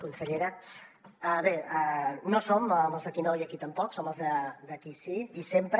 consellera bé no som els d’ aquí no i aquí tampoc som els d’ aquí sí i sempre